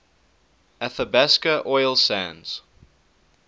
athabasca oil sands